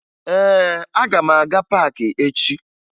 Ee, aga m aga paakị echi